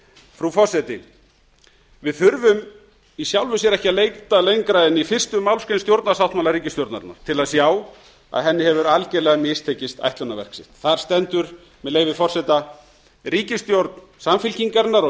frú forseti við þurfum í sjálfu sér ekki að leita lengra en í fyrstu málsgrein stjórnarsáttmála ríkisstjórnarinnar til að sjá að henni hefur algerlega mistekist ætlunarverk sitt þar stendur með leyfi forseta ríkisstjórn samfylkingarinnar og